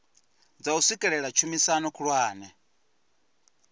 dza u swikelela tshumisano khulwane